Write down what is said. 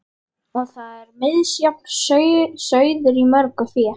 Og þar er misjafn sauður í mörgu fé.